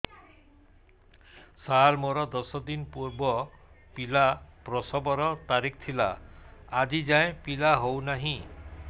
ସାର ମୋର ଦଶ ଦିନ ପୂର୍ବ ପିଲା ପ୍ରସଵ ର ତାରିଖ ଥିଲା ଆଜି ଯାଇଁ ପିଲା ହଉ ନାହିଁ